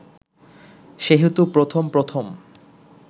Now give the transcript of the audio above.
সেহেতু প্রথম প্রথম